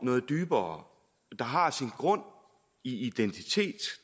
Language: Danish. noget dybere der har sin grund i identitet